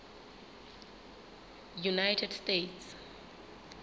united states